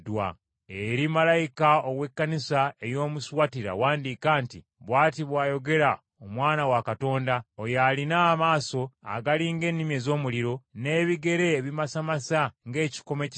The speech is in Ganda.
“Eri malayika ow’Ekkanisa ey’omu Suwatira wandiika nti: Bw’ati bw’ayogera Omwana wa Katonda, oyo alina amaaso agali ng’ennimi ez’omuliro, n’ebigere ebimasamasa ng’ekikomo ekizigule